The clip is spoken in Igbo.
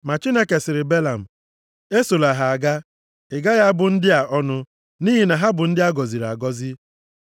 Ma Chineke sịrị Belam, “Esola ha aga! Ị gaghị abụ ndị a ọnụ, nʼihi na ha bụ ndị a gọziri agọzi.”